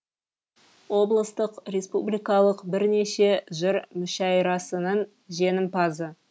облыстық республикалық бірнеше жыр мүшәйрасының жеңімпазы